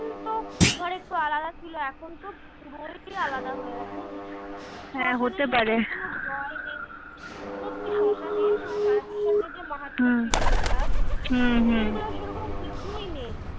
ধর একটু আলাদা ছিল এখন তো পুরোই আলাদা হয়ে গেছে। নেই সত্যি শশ্মানে এই গুলা সেরকম কিছুই নেই।